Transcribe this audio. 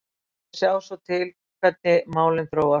Ég ætla að sjá svo til hvernig málin þróast.